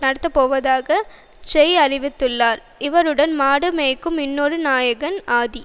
நடத்த போவதாக ஜெய் அறிவித்துள்ளார் இவருடன் மாடு மேய்க்கும் இன்னொருவர் நாயகன் ஆதி